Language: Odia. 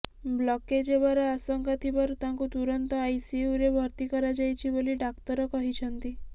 ବ୍ଲକେଜ୍ ହେବାର ଆଶଙ୍କା ଥିବାରୁ ତାଙ୍କୁ ତୁରନ୍ତ ଆଇସିୟୁରେ ଭର୍ତ୍ତି କରାଯାଇଛି ବୋଲି ଡ଼ାକ୍ତର କହିଛନ୍ତି